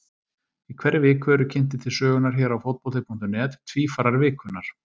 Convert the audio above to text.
Í hverri viku eru kynntir til sögunnar hér á Fótbolti.net Tvífarar vikunnar.